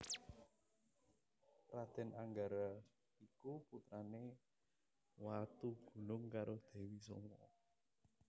Raden Anggara iku putrane Watugunung karo Dewi Soma